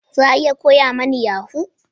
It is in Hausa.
Za a iya koya mani yahoo?